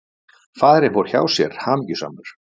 Faðirinn fór hjá sér, hamingjusamur.